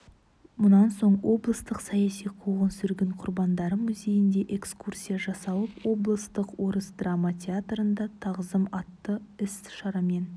мұнан соң облыстық саяси қуғын-сүргін құрбандары музейінде экскурсия жасалып облыстық орыс драма театрында тағзым атты іс-шарамен